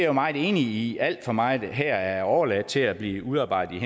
jo meget enig i alt for meget her er overladt til at blive udarbejdet